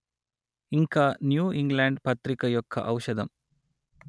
ఇంకా New England పత్రిక యొక్క ఔషధం